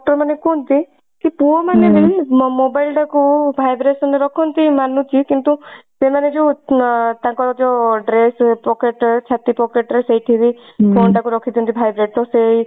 doctor ମାନେ କୁହନ୍ତି କି ପୁଅ ମାନେ ମ mobile ଟା କୁ vibration ରେ ରଖନ୍ତି ମାନୁଛି କିନ୍ତୁ ସେମାନେ ଯଉ ତାଙ୍କର ଯୋ dress pocket ଛାତି pocket ରେ ସେଇଠି ବି phone ଟାକୁ ରଖିଛନ୍ତି vibrate ରେ ତ ସେଇ